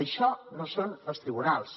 això no són els tribunals